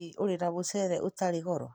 Hihi ũrĩ na mũcere ũtarĩ goro